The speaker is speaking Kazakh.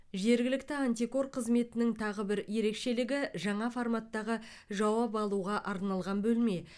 жергілікті антикор қызметінің тағы бір ерекшелігі жаңа форматтағы жауап алуға арналған бөлме